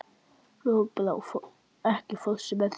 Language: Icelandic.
Lokbrá, ekki fórstu með þeim?